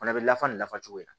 Fana bɛ lafasa nin nafa cogo la